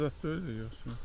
Kişi xəstə zad deyil idi yoxsa?